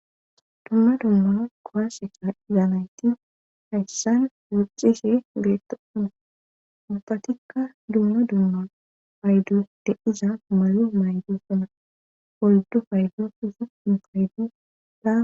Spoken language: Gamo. dumma dummaa kowase ka7iza nayti hayssan wucishe betosona ubatikka dumma dumma paydoy de7iza mayo maydosona poldu paydo susu infayduda